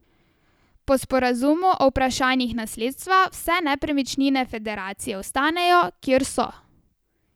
Po sporazumu o vprašanjih nasledstva vse nepremičnine federacije ostanejo, kjer so.